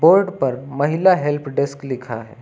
Board पर महिला help desk लिखा है।